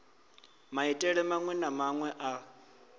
maitele maṅwe na maṅwe a